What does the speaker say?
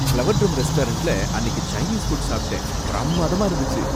Flower drum ரெஸ்டாரன்ட்ல அன்னிக்கு Chinese food சாப்ட்டேன், பிரம்மாதமா இருந்துச்சு!